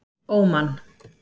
Óman